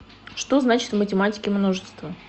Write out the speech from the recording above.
что значит в математике множество